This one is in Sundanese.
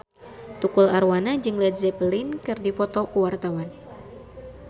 Tukul Arwana jeung Led Zeppelin keur dipoto ku wartawan